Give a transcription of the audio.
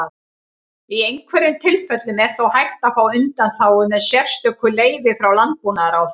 Í einhverjum tilfellum er þó hægt að fá undanþágu með sérstöku leyfi frá Landbúnaðarráðherra.